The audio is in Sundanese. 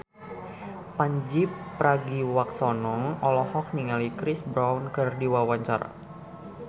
Pandji Pragiwaksono olohok ningali Chris Brown keur diwawancara